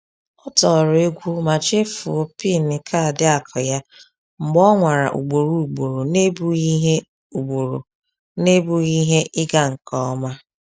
Ọ tọrọ egwu ma chefuo PIN kaadị akụ ya mgbe o nwara ugboro ugboro n’ebughị ihe ugboro n’ebughị ihe ịga nke ọma.